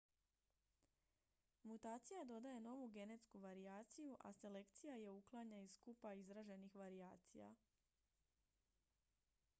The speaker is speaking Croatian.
mutacija dodaje novu genetsku varijaciju a selekcija je uklanja iz skupa izraženih varijacija